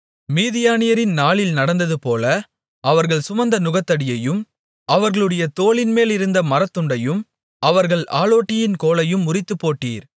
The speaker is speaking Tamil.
மீதியானியரின் நாளில் நடந்ததுபோல அவர்கள் சுமந்த நுகத்தடியையும் அவர்களுடைய தோளின்மேலிருந்த மரத்துண்டையும் அவர்கள் ஆளோட்டியின் கோலையும் முறித்துப்போட்டீர்